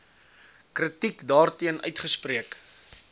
kritiek daarteen uitgespreek